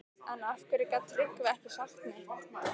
En af hverju gat Tryggvi ekki sagt neitt?